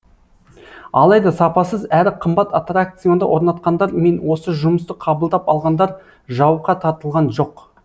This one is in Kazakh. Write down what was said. алайда сапасыз әрі қымбат аттракционды орнатқандар мен осы жұмысты қабылдап алғандар жауапқа тартылған жоқ